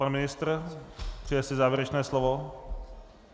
Pan ministr - přeje si závěrečné slovo?